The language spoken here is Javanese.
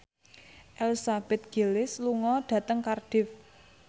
Elizabeth Gillies lunga dhateng Cardiff